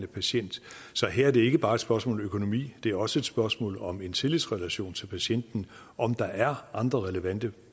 patient så her er det ikke bare et spørgsmål om økonomi det er også et spørgsmål om en tillidsrelation til patienten om der er andre relevante